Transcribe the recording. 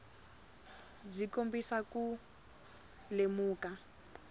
byi kombisa ku lemuka